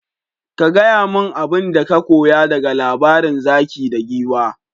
Ka gaya min abinda ka koya daga labarin zaki da Giwa.